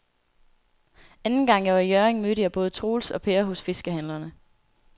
Anden gang jeg var i Hjørring, mødte jeg både Troels og Per hos fiskehandlerne.